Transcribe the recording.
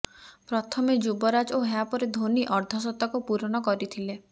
ପ୍ରଥମେ ଯୁବରାଜ ଓ ଏହାପରେ ଧୋନି ଅର୍ଦ୍ଧଶତକ ପୂରଣ କରିଥିଲେ